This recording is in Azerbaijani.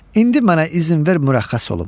İndi mənə izin ver mürəxxəs olum.